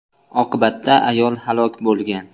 Oqibatda ayol halok bo‘lgan.